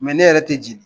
ne yɛrɛ tɛ jeni